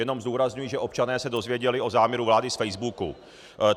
Jenom zdůrazňuji, že občané se dozvěděli o záměru vlády z facebooku.